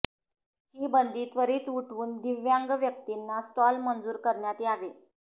हि बंदी त्वरित उठवून दिव्यांग व्यक्तींना स्टॉल मंजूर करण्यात यावे